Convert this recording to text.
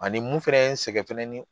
Ani mun fɛnɛ ye n sɛgɛn fɛnɛ ni